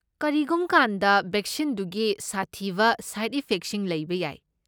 ꯀꯔꯤꯒꯨꯝ ꯀꯥꯟꯗ ꯕꯦꯛꯁꯤꯟꯗꯨꯒꯤ ꯁꯥꯊꯤꯕ ꯁꯥꯏꯗ ꯏꯐꯦꯛꯁꯤꯡ ꯂꯩꯕ ꯌꯥꯏ꯫